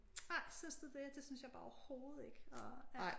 Ej synes du det? Det synes jeg bare overhovedet ikke ej er